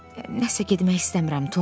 Nəsə getmək istəmirəm, Tom.